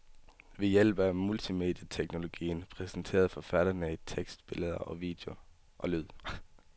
Ved hjælp af multimedieteknologien præsenteres forfatterne i tekst, billede, lyd og video.